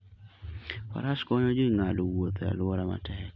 Faras konyo ji ng'ado wuoth e alwora matek.